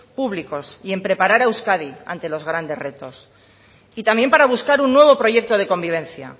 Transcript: públicos y en preparar a euskadi ante los grandes retos y también para buscar un nuevo proyecto de convivencia